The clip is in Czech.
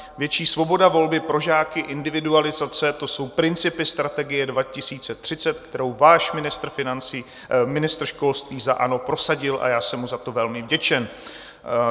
Větší svoboda volby pro žáky, individualizace, to jsou Principy strategie 2030, kterou váš ministr školství za ANO prosadil a já jsem mu za to velmi vděčen.